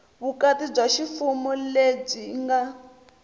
vukati bya ximfumo lebyi nga